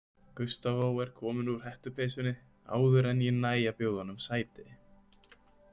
Gustavo er kominn úr hettupeysunni áður en ég næ að bjóða honum sæti.